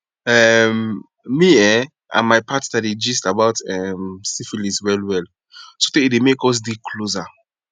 um me um and my partner dey gist about um syphilis well well sotey e dey make us dey closer